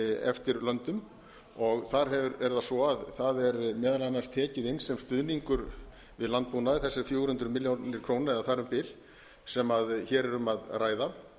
eftir löndum þar er það svo að þar er meðal annars tekið inn sem stuðningur við landbúnað þessar fjögur hundruð milljóna króna eða þar um bil sem hér er um að ræða